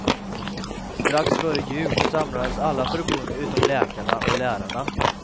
Strax före jul samlades alla förbund utom läkarna och lärarna.